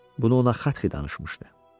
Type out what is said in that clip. Bunu ona Xatxi danışmışdı.